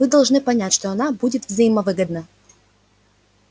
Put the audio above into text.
вы должны понять что она будет взаимовыгодна